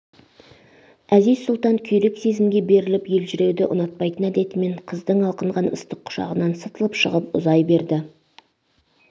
әзиз-сұлтан күйрек сезімге беріліп елжіреуді ұнатпайтын әдетімен қыздың алқынған ыстық құшағынан сытылып шығып ұзай берді